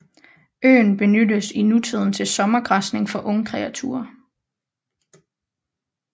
Øen benyttes i nutiden til sommergræsning for ungkreaturer